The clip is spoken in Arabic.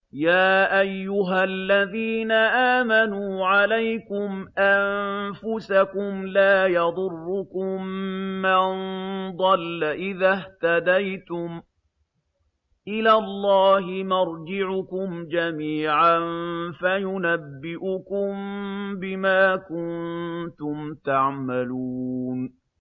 يَا أَيُّهَا الَّذِينَ آمَنُوا عَلَيْكُمْ أَنفُسَكُمْ ۖ لَا يَضُرُّكُم مَّن ضَلَّ إِذَا اهْتَدَيْتُمْ ۚ إِلَى اللَّهِ مَرْجِعُكُمْ جَمِيعًا فَيُنَبِّئُكُم بِمَا كُنتُمْ تَعْمَلُونَ